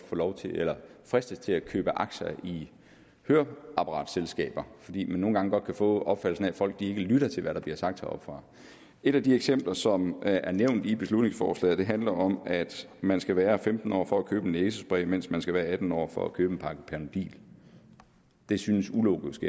fristes til at købe aktier i høreapparatselskaber fordi man nogle gange godt kan få opfattelsen af at folk ikke lytter til hvad der bliver sagt heroppefra et af de eksempler som er nævnt i beslutningsforslaget handler om at man skal være femten år for at købe en næsespray mens man skal være atten år for at købe en pakke panodil det synes ulogisk